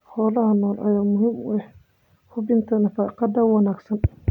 Xoolaha nool ayaa muhiim u ah hubinta nafaqada wanaagsan.